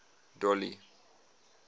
dolly